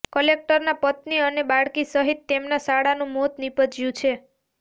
કલેક્ટરના પત્ની અને બાળકી સહિત તેમના સાળાનું મોત નિપજ્યું છે